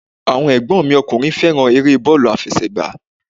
Àwọn ẹ̀gbọ́n mi ọkùnrin fẹ́ràn eré bọ́ọ̀lù àfẹsẹ̀gbá